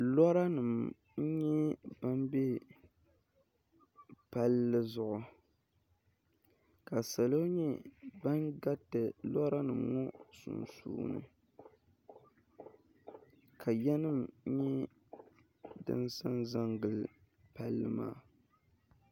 loorinima n-nyɛ ban be palli zuɣu ka salo nyɛ ban gariti loorinima sunsuuni ka ya nyɛ din zanza n-gili palli maa